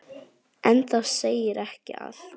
En það segir ekki allt.